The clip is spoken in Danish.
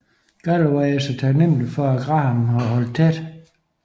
Galloway er så taknemmelig for at Graham har holdt tæt